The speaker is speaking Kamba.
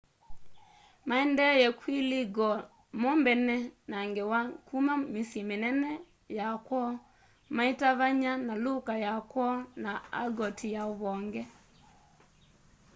maendee kwilegal mo mbene na ngewa kuma misyi minene ya kwoo maitavanya na luka ya kwoo na argoti ya uvonge